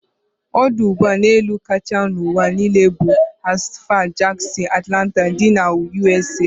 Odụ ụgbọ elu kacha n'ụwa n'ile bu Hartsfield-Jackson Atlanta dị na ụsa